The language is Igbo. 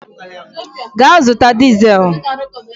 Gaa zụta dizel!